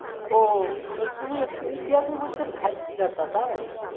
ও ও তুই ইতিহাসের উত্তর ভয় যা তাই